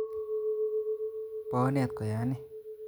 Bo onet koyan'i?